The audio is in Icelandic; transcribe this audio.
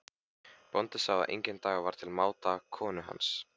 Bóndinn sá að enginn dagur var til máta konu hans.